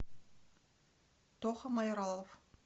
тоха майралов